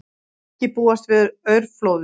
Ekki búist við aurflóðum